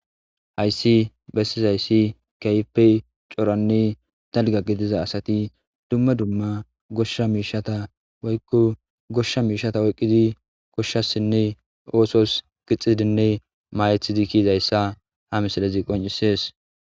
hayssi bessizayssi kaype coranne dalga gidiza asati dumma dumma goshsha miishata woykko goshsha miishata oyqqidi koshshasinne oosos gixidinne maayethizi kiizayssa ha misalazi qoncisees